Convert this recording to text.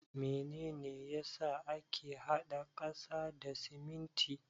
Mene ne ya sa ake hada ƙasa da siminti?